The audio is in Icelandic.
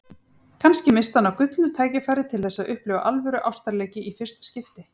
Kannski missti hann af gullnu tækifæri til þess að upplifa alvöru ástarleiki í fyrsta skipti.